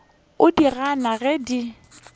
o di gana ge di